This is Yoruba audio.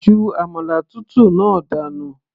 ju àmàlà tútù náà dànù